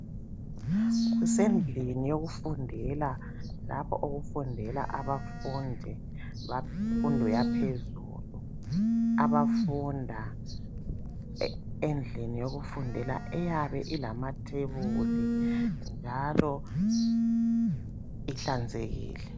Kusendlini yokufundela lapho okufundela abafundi bemfundo yaphezulu abafunda endlini yokufundela eyabe ilamathebuli njalo ihlanzekile.